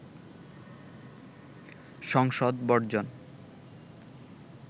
সংসদ বর্জন